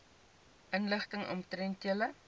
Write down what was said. inligting omtrent julle